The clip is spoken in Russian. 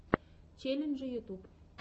челленджи ютюб